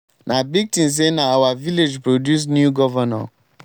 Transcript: na big thing say na our village produce new governor